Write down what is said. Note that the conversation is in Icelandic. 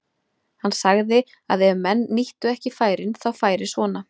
Hann sagði að ef menn nýttu ekki færin þá færi svona.